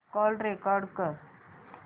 call record कर